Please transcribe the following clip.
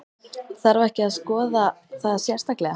Þarf ekki að skoða það sérstaklega?